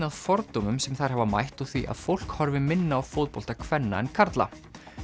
að fordómum sem þær hafa mætt og því að fólk horfi minna á fótbolta kvenna en karla